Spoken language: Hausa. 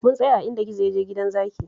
Mun tsaya a inda gizo ya je gidan zaki